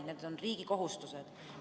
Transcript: Need on riigi kohustused.